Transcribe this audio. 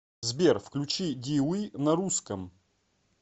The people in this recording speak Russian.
сбер включи ди уи на русском